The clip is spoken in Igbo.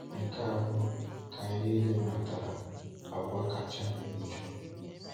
Nke a bụ, ka anyị niile mātara, agwa kacha njọ.